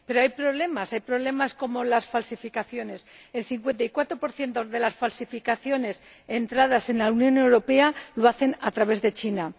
Pero hay problemas hay problemas como las falsificaciones ―el 54 de las falsificaciones que entran en la Unión Europea lo hacen a través de China―.